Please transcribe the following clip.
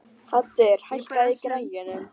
Haddur, hækkaðu í græjunum.